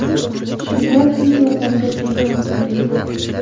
Shunda tez yordamga telefon qildik.